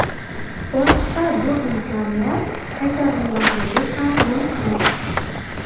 Boshqa bu imkoniyat qaytarilmasligi ham mumkin!